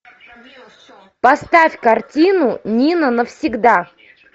поставь картину нина навсегда